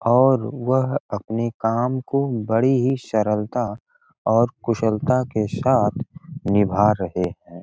और वह अपने काम को बड़े ही सरलता और कुशलता के साथ निभा रहें हैं।